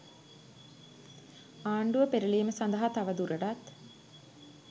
ආණ්ඩුව පෙරළීම සදහා තව දුරටත්